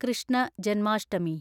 Krishna Janmashtami